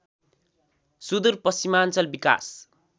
सुदुर पश्चिमाञ्चल विकास